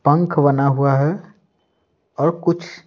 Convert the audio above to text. पंख बना हुआ है और कुछ--